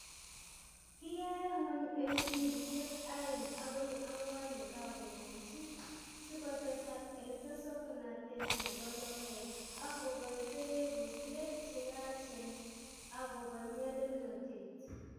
Kiyaei ng'wony eng' wigisyek aeng' agoi ang'wan' ye kagomong'ji; sikotesak eng' tesoknateet ne po logoek, ak koboi kereruusyek che yaacheen, ak koboi nyalilnotet.